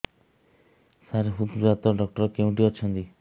ସାର ହୃଦଘାତ ଡକ୍ଟର କେଉଁଠି ଅଛନ୍ତି